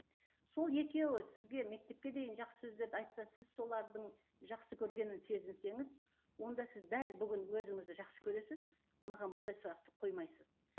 сол екеуі сізге мектепке дейін жақсы сөздерді айтса сіз солардың жақсы көргенін сезінсеңіз онда сіз дәл бүгін өзіңізді жақсы көресіз маған бұндай сұрақты қоймайсыз